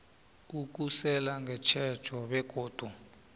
ukusela ngetjhejo begodu